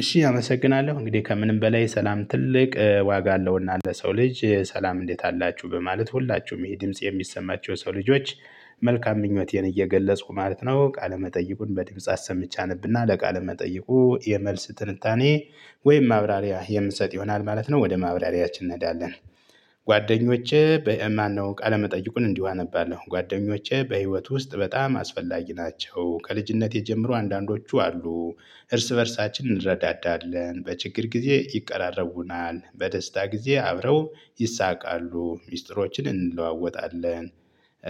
እሺ አመሰግናለሁ እንግዲህ ከምንም በላይ ሰላም ትልቅ ዋጋ አለውና ለሰው ልጅ ሰላም እንዴት አላችሁ በማለት ሁላችሁም ይህ ድምጽ የሚሰማቸው የሰው ልጆች መልካም ምኞቴን እየገለጽኩ ማለት ነው። ቃለ መጠይቁን በድምጽ አሰምቼ አነብና ለቃለ መጠይቁ የመልስ ትንታኔ ወይም ማብራሪያ የምንሰጥ ይሆናል ማለት ነው። ወደ ማብራሪያችን እንሄዳለን። ጓደኞቼ በ ማነው? ቃለመጠይቁን እንዲሁ አነባለሁ ጓደኞቼ በህይወት ውስጥ በጣም አስፈላጊ ናቸው። ከልጅነቴ ጀምሮ አንዳንዶቹ አሉ እርስ በእርሳችን እንረዳዳለን በችግር ጊዜ ይቀራረቡናል በደስታ ጊዜ አብረው ይሳቃሉ ሚስጥሮችን እንለዋወጣለን።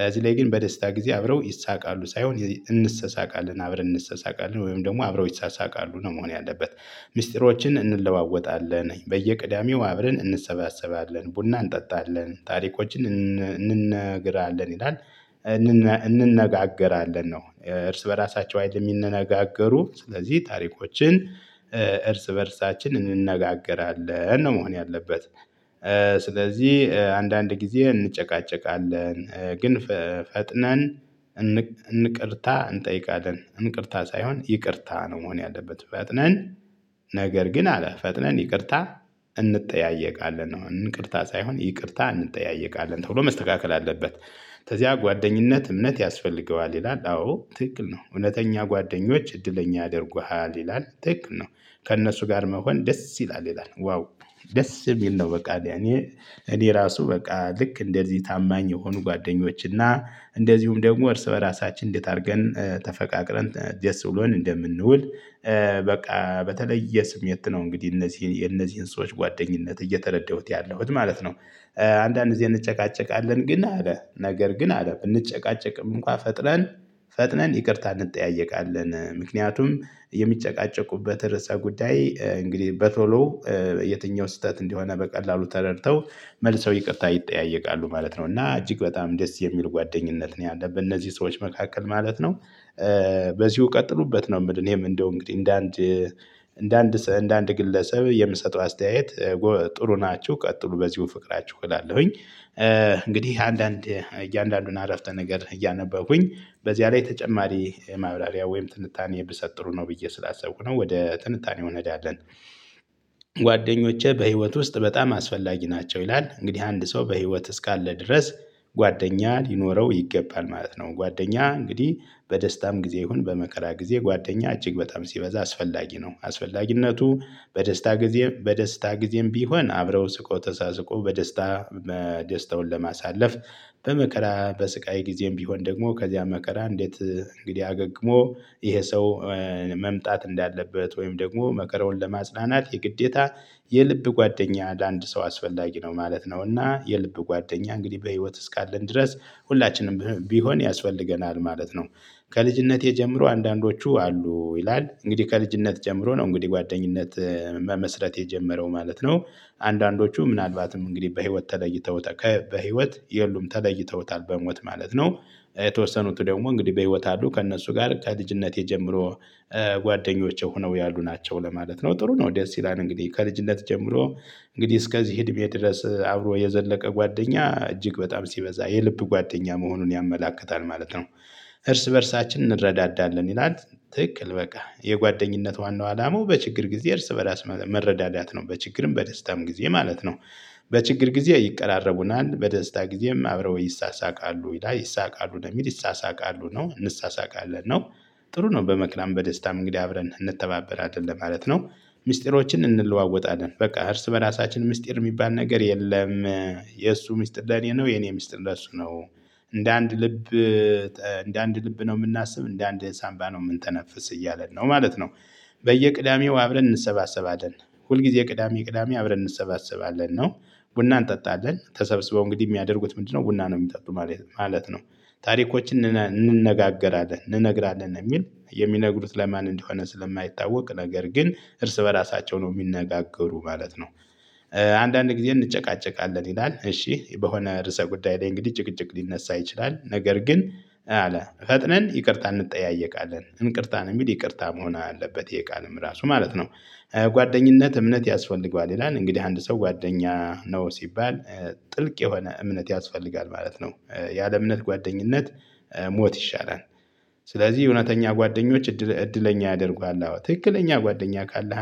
እዚህ ላይ ግን በደስታ ጊዜ አብረው ይሳቃሉ ሳይሆን እንሰሳቃለን አብረን እንሰሳቃለን ወይም ደግሞ አብረው ይሳሳቃሉ ነው መሆን ያለበት። ሚስጥሮችን እንለዋወጣለን በየቅዳሜው አብረን እንሰባሰባለን ቡና እንጠጣለን ታሪኮችን እንነግራለን ይላል። እንነጋገራለን ነው። እርስ በራሳቸው አይደለም ሚንነጋገሩ ስለዚህ ታሪኮችን እርስ በእርሳችን እንነጋገራለን ነው መሆን ያለበት። ስለዚህ አንዳንድ ጊዜ እንጨቃጨቃለን ግን ፈጥነን እንቅርታ እንጠይቃለን። እንቅርታ ሳይሆን ይቅርታ ነው መሆን ያለበት። ፈጥነን ነገር ግን አለ ፈጥነን ይቅርታ እንጠያየቃለን ነው እንቅርታ ሳይሆን ይቅርታ እንጠያየቃለን ተብሎ መስተካከል አለበት። ከዚያ ጓደኝነት እምነት ያስፈልገዋል ይላል አዎ ትክክል ነው። እውነተኛ ጓደኞች እድለኛ ያደርጉሃል ይላል ትክክል ነው። ከእነሱ ጋር መሆን ደስ ይላል ይላል ዋው ደስ የሚል ነው። በቃ ለኔ እኔ ራሱ በቃ ልክ እንደዚህ ታማኝ የሆኑ ጓደኞች እና እንደዚሁም ደግሞ እርስ በራሳችን እንዴት አድርገን ተፈቃቅረን ደስ ብሎን እንደምንውል። በቃ በተለየ ስሜት ነው። እንግዲህ እነዚህን የነዚህን ሰዎች ጓደኝነት እየተረዳሁት ያለሁት ማለት ነው። አንዳንድ ጊዜ እንጨቃጨቃለን ግን አለ ነገር ግን አለ ብንጨቃጨቅም እንኳን ፈጥነን ፈጥነን ይቅርታ እንጠያየቃለን። ምክንያቱም የሚጨቃጨቁበት ርዕሰ ጉዳይ እንግዲህ በቶሎ የትኛው ስህተት እንደሆነ በቀላሉ ተረድተው መልሰው ይቅርታ ይጠያየቃሉ ማለት ነው። እና እጅግ በጣም ደስ የሚል ጓደኝነት ነው ያለብን እነዚህ ሰዎች መካከል ማለት ነው። በዚሁ ቀጥሉበት ነው የምልህ እኔም እንደው እንግዲህ እንደ አንድ እንደ አንድ እንደ አንድ ግለሰብ የምሰጠው አስተያየት። ጥሩ ናችሁ ቀጥሉ በዚሁ ፍቅራችሁ እላለሁኝ። እንግዲህ አንዳንድ እያንዳንዱን አረፍተ ነገር እያነበብኩኝ በዚያ ላይ ተጨማሪ ማብላሪያ ወይም ትንታኔ ብሰጥ ጥሩ ነው ብዬ ስላሰብኩ ነው ወደ ትንታኔው እንሄዳለን። ጓደኞቼ በህይወት ውስጥ በጣም አስፈላጊ ናቸው ይላል እንግዲህ አንድ ሰው በህይወት እስካለ ድረስ ጓደኛ ሊኖረው ይገባል ማለት ነው። ጓደኛ እንግዲህ በደስታም ጊዜ ይሁን በመከራ ጊዜ ጓደኛ እጅግ በጣም ሲበዛ አስፈላጊ ነው። አስፈላጊነቱ በደስታ ጊዜ በደስታ ጊዜም ቢሆን አብረው ስቆ ተሳስቆ በደስታ ደስታውን ለማሳለፍ። በመከራ በስቃይ ጊዜም ቢሆን ደግሞ ከዚያ መከራ እንዴት እንግዲህ አገግሞ ይሄ ሰው መምጣት እንዳለበት ወይም ደግሞ መከራውን ለማጽናናት የግዴታ የልብ ጓደኛ አንድ ሰው አስፈላጊ ነው ማለት ነው። እና የልብ ጓደኛ እንግዲህ በህይወት እስካለን ድረስ ሁላችንም ቢሆን ያስፈልገናል ማለት ነው። ከልጅነቴ ጀምሮ አንዳንዶቹ አሉ ይላል እንግዲህ ከልጅነት ጀምሮ ነው እንግዲህ ጓደኝነት መመስረት የጀመረው ማለት ነው። አንዳንዶቹ ምናልባትም እንግዲህ በህይወት ተለይተው በህይወት የሉም ተለይተውታል በሞት ማለት ነው። የተወሰኑት ደግሞ እንግዲህ በህይወት አሉ ከእነሱ ጋር ከልጅነቴ ጀምሮ ጓደኞቼ ሆነው ያሉ ናቸው ለማለት ነው። ጥሩ ነው ደስ ይላል እንግዲህ ከልጅነት ጀምሮ እንግዲህ እስከዚህ እድሜ ድረስ አብሮ የዘለቀ ጓደኛ እጅግ በጣም ሲበዛ የልብ ጓደኛ መሆኑን ያመላክታል ማለት ነው። እርስ በእርሳችን እንረዳዳለን ይላል ትክክል በቃ የጓደኝነት ዋናው አላማው በችግር ጊዜ እርስ በራስ መረዳዳት ነው በችግርም በደስታም ጊዜ ማለት ነው። በችግር ጊዜ ይቀራረቡናል በደስታ ጊዜም አብረው ይሳሳቃሉ ይላል ይሳቃሉ የሚል ይሳሳቃሉ ነው እንሳሳቃለ ነው። ጥሩ ነው በመከራም በደስታም እንግዲህ አብረን እንተባበራለን ለማለት ነው። ሚስጥሮችን እንለዋወጣለን በቃ እርስ በራሳችን ምስጢር የሚባል ነገር የለም። የእሱ ምስጢር ለኔ ነው የኔ ምስጢር ለእሱ ነው። እንደ አንድ ልብ እንደ አንድ ልብ ነው የምናስብ እንደ አንድ ሳንባ ነው የምንተነፍስ እያለን ነው ማለት ነው። በየቅዳሜው አብረን እንሰባሰባለን ሁልጊዜ ቅዳሜ ቅዳሜ አብረን እንሰባሰባለን ነው። ቡና እንጠጣለን ተሰብስበው እንግዲህ የሚያደርጉት ምንድነው? ቡና ነው የሚጠጡ ማለት ነው። ታሪኮችን እንነጋገራለን እንነግራለን የሚል የሚነግሩት ለማን እንደሆነ ስለማይታወቅ ነገር ግን እርስ በራሳቸው ነው የሚነጋገሩ ማለት ነው። አንዳንድ ጊዜ እንጨቃጨቃለን ይላል እሺ በሆነ ርዕሰ ጉዳይ ላይ እንግዲህ ጭቅጭቅ ሊነሳ ይችላል። ነገር ግን አለ ፈጥነን ይቅርታ እንጠያየቃለን እንቅርታ ነው የሚል ይቅርታ መሆን አለበት ይሄ ቃልም ራሱ ማለት ነው። ጓደኝነት እምነት ያስፈልገዋል ይላል እንግዲህ አንድ ሰው ጓደኛ ነው ሲባል። ጥልቅ የሆነ እምነት ያስፈልጋል ማለት ነው። ያለ እምነት ጓደኝነት ሞት ይሻላል። ስለዚህ እውነተኛ ጓደኞች እድለኛ ያደርጉሃል ትክክለኛ ጓደኛ ካለ